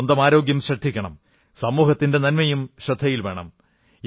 സ്വന്തം ആരോഗ്യം ശ്രദ്ധിക്കണം സമൂഹത്തിന്റെ നന്മയും ശ്രദ്ധയിൽ വേണം